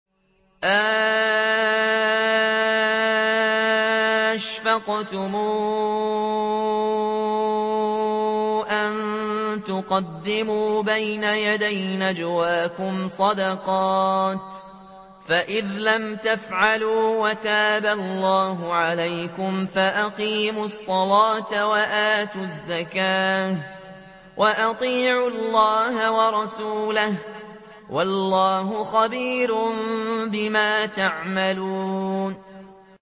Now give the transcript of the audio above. أَأَشْفَقْتُمْ أَن تُقَدِّمُوا بَيْنَ يَدَيْ نَجْوَاكُمْ صَدَقَاتٍ ۚ فَإِذْ لَمْ تَفْعَلُوا وَتَابَ اللَّهُ عَلَيْكُمْ فَأَقِيمُوا الصَّلَاةَ وَآتُوا الزَّكَاةَ وَأَطِيعُوا اللَّهَ وَرَسُولَهُ ۚ وَاللَّهُ خَبِيرٌ بِمَا تَعْمَلُونَ